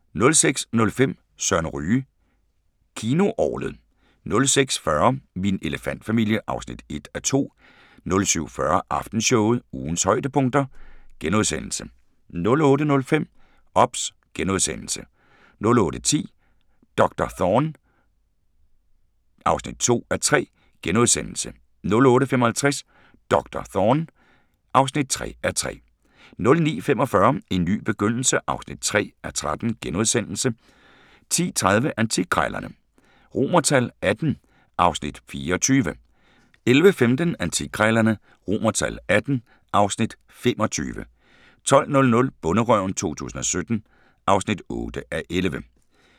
06:05: Søren Ryge: Kinoorglet 06:40: Min elefantfamilie (1:2) 07:40: Aftenshowet – ugens højdepunkter * 08:05: OBS * 08:10: Doktor Thorne (2:3)* 08:55: Doktor Thorne (3:3) 09:45: En ny begyndelse (3:13)* 10:30: Antikkrejlerne XVIII (Afs. 24) 11:15: Antikkrejlerne XVIII (Afs. 25) 12:00: Bonderøven 2017 (8:11)